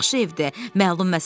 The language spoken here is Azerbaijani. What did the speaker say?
Çox yaxşı evdir.